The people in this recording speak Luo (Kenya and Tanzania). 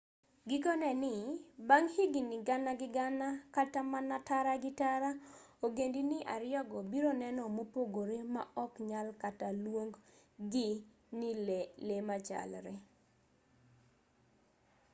gikone ni bang' higni gana gi gana kata mana tara gi tara ogendni ariyogo biro neno mopogore ma ok nyal kata luong gi ni le machalre